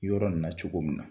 Yɔrɔ nin na cogo min na